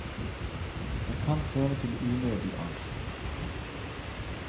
Det kan føre til unødig angst.